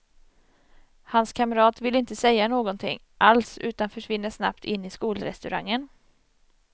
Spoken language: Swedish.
Hans kamrat vill inte säga någonting alls utan försvinner snabbt in i skolrestaurangen.